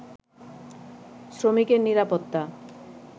শ্রমিকের নিরাপত্তা